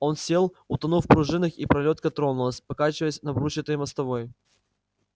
он сел утонув в пружинах и пролётка тронулась покачиваясь на брусчатой мостовой